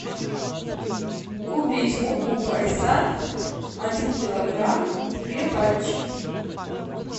купить муку байсад один килограмм две пачки